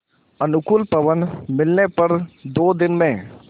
अनुकूल पवन मिलने पर दो दिन में